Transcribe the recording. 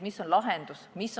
Mis on lahendus?